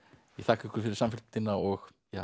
ég þakka ykkur fyrir samfylgdina og